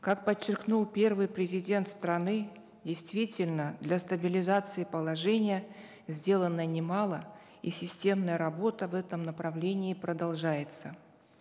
как подчеркнул первый президент страны действительно для стабилизации положения сделано немало и системная работа в этом направлении продолжается